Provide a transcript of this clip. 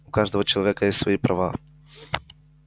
у каждого человека есть свои права